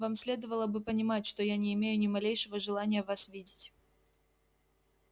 вам следовало бы понимать что я не имею ни малейшего желания вас видеть